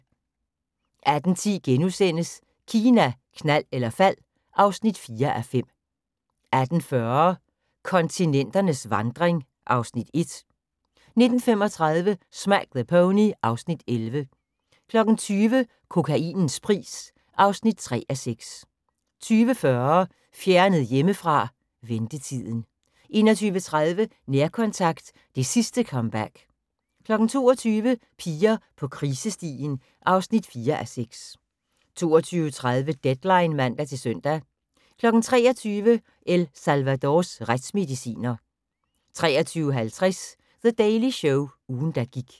18:10: Kina, knald eller fald (4:5)* 18:40: Kontinenternes vandring (Afs. 1) 19:35: Smack the Pony (Afs. 11) 20:00: Kokainens pris (3:6) 20:40: Fjernet hjemmefra: Ventetiden 21:30: Nærkontakt – det sidste comeback 22:00: Piger på krisestien (4:6) 22:30: Deadline (man-søn) 23:00: El Salvadors retsmediciner 23:50: The Daily Show – ugen der gik